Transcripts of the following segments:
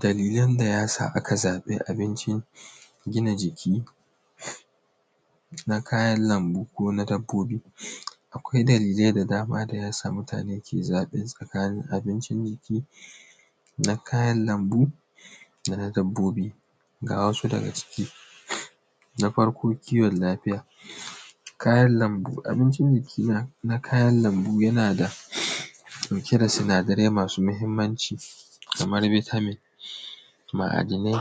Dalilan da ya sa aka zaɓi abincin gina jiki na kayan lambu ko na dabbobi. Akwai dalilai da dama da ya sa mutane ke zaɓe tsakanin abinci jiki na kayan lambu da na dabbobi, ga wasu daga ciki: na farko kiwon lafiya, kayan lambu abincin dake nan na kayan lambu yana cike da sinadarai masu mahinmanci kamar bitamin ma’adanai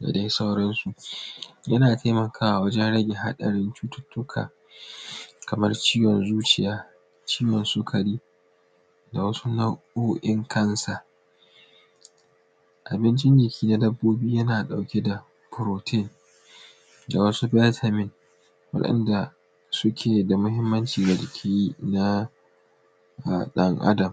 da dai sauransu, yana taimakawa wajen rage haɗarin cututtuka kamar ciwon zuciya, ciwon sukari da wasu nau’o’in kansa, abinci jiki na dabbobi yana ɗauke da furotin da wasu bitamin waɗanda suke da mahinmanci ga jiki na ɗan Adam.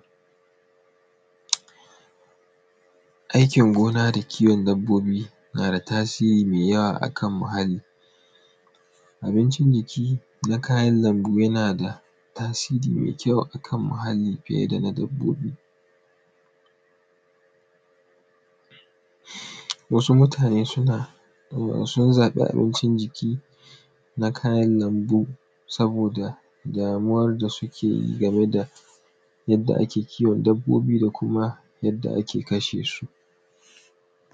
Aikin gona da kiwon dabbobi nada tasiri me yawa akan muhalli, abincin jiki na kayan lambu yana da tasiri me yawa akan muhalli fiye da na dabbobi, wasu mutane suna sun zaɓi abincin jiki na kayan lambu saboda damuwar da suke yi game da yadda ake kiwon dabbobi da kuma yadda ake kasha su.